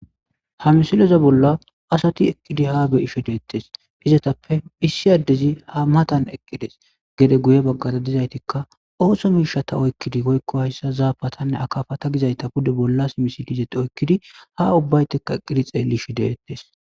Ha missileza bolla asati eqqidi ha be'ishe dettes izetappe issi adezi ha matan eqqides gedde guye bagara dizayittikka osso mishshata oyikkidi woyikko hayissa zappatanne akkapata pudde bolla simissidi izeti oyikkidi ha ubbati xellishe dettes